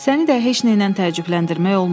Səni də heç nə ilə təəccübləndirmək olmur.